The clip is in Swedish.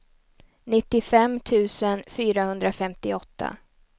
nittiofem tusen fyrahundrafemtioåtta